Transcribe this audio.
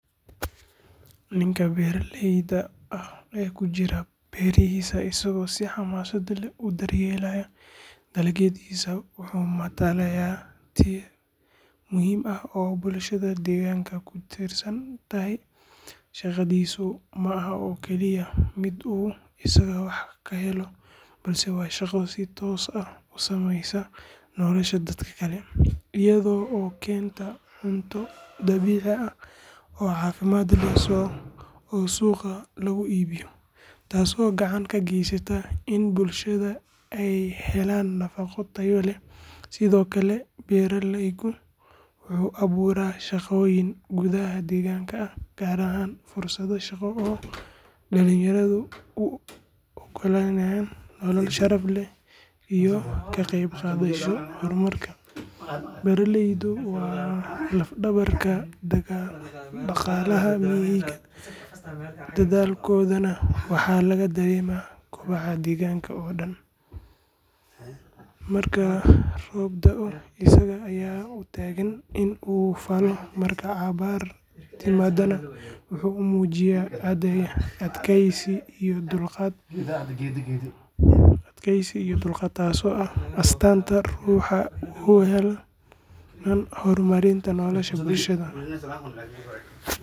Ninka beeralayda ah oo ku jira beerihiisa isaga oo si xamaasad leh u daryeelaya dalaggiisa, wuxuu matalaa tiir muhiim ah oo bulshada deegaanka ka tirsan. Shaqadiisu ma aha mid uu kaliya isaga ka helo faa’iido, balse waa shaqo si toos ah u saameysa nolosha dadka kale, iyadoo keenta cunto dabiici ah oo caafimaad leh oo suuqyada lagu iibiyo, taasoo gacan ka geysata in bulshada ay helaan nafaqo tayo leh. Sidoo kale, beeraleygu wuxuu abuuraa shaqooyin gudaha deegaanka ah, gaar ahaan fursado shaqo oo dalinyaradha u oggolaanaya dhalinyarada inay helaan nolol sharaf leh iyo ka qaybqaadasho horumarka. Beeraleyda waa laf-dhabarta dhaqaalaha iyo horumarka; dadaalkooda waxaa laga dareemaa kobaca guud ee deegaanka. marka roob daa oo asaga aya u tagan in u faalo, Marka abaartu timaado, iyaga ayaa u taagan adkaysi iyo dulqaad, taasoo ah astaanta ruuxa ka shaqeeya dinaca horumarinta nolosha bulshada